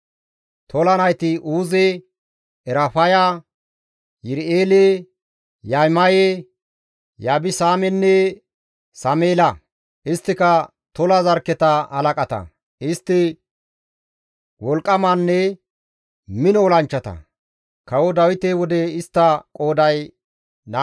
Tola nayti Uuze, Erafaya, Yiri7eele, Yahimaye, Yibisaamenne Sameela; isttika Tola zarkketa halaqata; istti wolqqamanne mino olanchchata; kawo Dawite wode istta qooday 22,600.